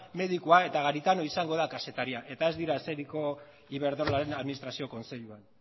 medikua eta garitano izango da kazetaria eta ez dira eseriko iberdrolaren administrazio kontseiluan